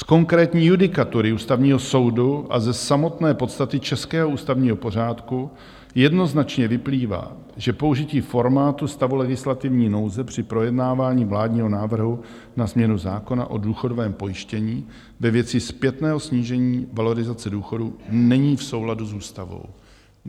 Z konkrétní judikatury Ústavního soudu a ze samotné podstaty českého ústavního pořádku jednoznačně vyplývá, že použití formátu stavu legislativní nouze při projednávání vládního návrhu na změnu zákona o důchodovém pojištění ve věci zpětného snížení valorizace důchodů není v souladu s ústavou.